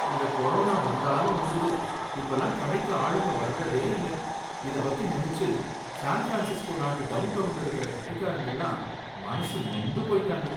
இந்தக் கொரோனா வந்தாலும் வந்தது இப்பலாம் கடைக்கு ஆளுங்க வர்றதே இல்ல, இத பத்தி நினைச்சு ஸான் ஃப்ரான்ஸிஸ்கோ நாட்டு டவுன்டௌன்ல இருக்கற கடைக்காரங்கல்லாம் மனசு நொந்து போயிட்டாங்க.